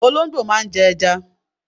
Olóńgbò máa ń jẹ ẹja.